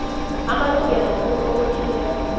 amalungelo womuntu obotjhiweko